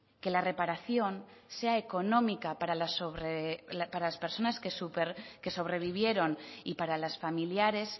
que la reparación sea económica para las personas que sobrevivieron y para los familiares